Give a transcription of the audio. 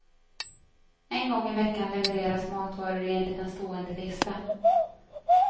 En gång i veckan levereras matvaror enligt en stående lista.